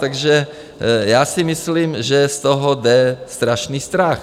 Takže já si myslím, že z toho jde strašný strach.